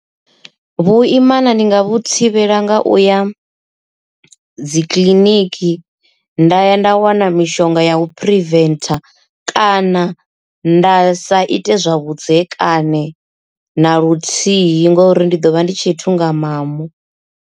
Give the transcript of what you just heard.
Ni nga thivhela hani vhuimana ni tshe thungamamu.